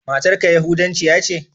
Matar ka yahudancia ce?